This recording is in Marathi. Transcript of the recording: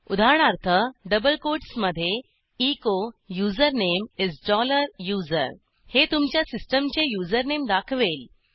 उदाहरणार्थ डबल कोट्समधे echo username is dollar user हे तुमच्या सिस्टीमचे युझरनेम दाखवेल